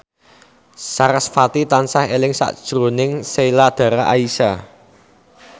sarasvati tansah eling sakjroning Sheila Dara Aisha